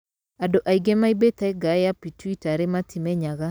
Andũ aingĩ maumbĩte ngaĩ ya pituitary matimenyaga.